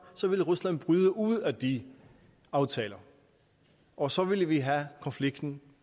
så ville rusland bryde ud af de aftaler og så ville vi have konflikten